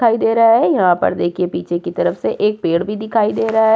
दिखाई दे रहा है यहाँ पर देखिए पीछे की तरफ से एक पेड़ भी दिखाई दे रहा --